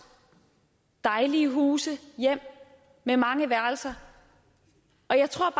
dejlige huse hjem med mange værelser og jeg tror